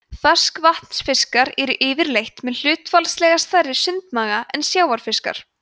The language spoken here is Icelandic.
ferskvatnsfiskar eru yfirleitt með hlutfallslega stærri sundmaga en sjávarfiskar